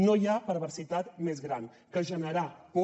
no hi ha perversitat més gran que generar por